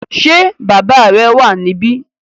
Ṣé bàbá rẹ wà níbí?